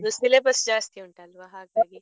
ಹೌದು syllabus ಜಾಸ್ತಿ ಉಂಟಲ್ವ ಹಾಗಾಗಿ.